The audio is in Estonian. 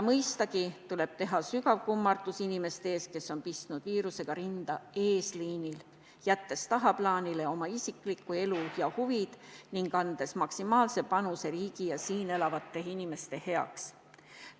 Mõistagi tuleb teha sügav kummardus inimeste ees, kes on pistnud viirusega rinda eesliinil, jättes tagaplaanile oma isikliku elu ja huvid ning andes maksimaalse panuse riigi ja siin elavate inimeste heaks.